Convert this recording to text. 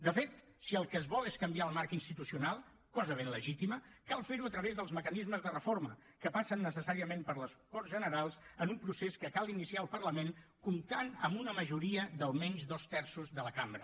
de fet si el que es vol és canviar el marc institucional cosa ben legítima cal ferho a través dels mecanismes de reforma que passen necessàriament per les corts generals en un procés que cal iniciar al parlament comptant amb una majoria d’almenys dos terços de la cambra